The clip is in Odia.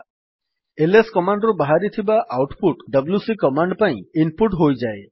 ଏଲଏସ୍ କମାଣ୍ଡ୍ ରୁ ବାହାରିଥିବା ଆଉଟ୍ ପୁଟ୍ ଡବ୍ଲ୍ୟୁସି କମାଣ୍ଡ୍ ପାଇଁ ଇନ୍ ପୁଟ୍ ହୋଇଯାଏ